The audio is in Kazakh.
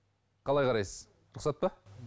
қалай қарайсыз рұқсат па